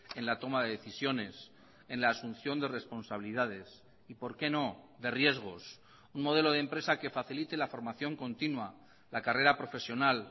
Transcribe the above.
en la toma de decisiones en la asunción de responsabilidades y por qué no de riesgos un modelo de empresa que facilite la formación continua la carrera profesional